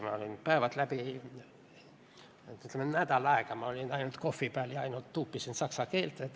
Ma olin päevad läbi – ütleme, nädal aega – ainult kohvi peal ja ainult tuupisin saksa keelt.